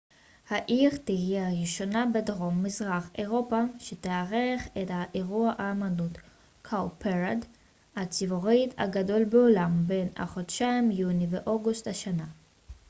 העיר תהיה הראשונה בדרום מזרח אירופה שתארח את ה cowparade אירוע האמנות הציבורית הגדול בעולם בין החודשים יוני ואוגוסט השנה